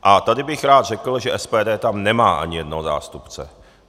A tady bych rád řekl, že SPD tam nemá ani jednoho zástupce.